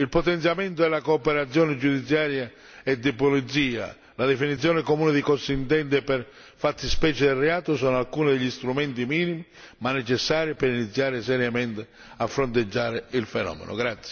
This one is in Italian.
Il potenziamento e la cooperazione giudiziaria e di polizia, la definizione comune di cosa si intende per fattispecie di reato, sono alcuni degli strumenti minimi ma necessari per iniziare seriamente a fronteggiare il fenomeno.